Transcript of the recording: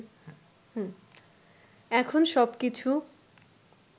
এখন সবকিছু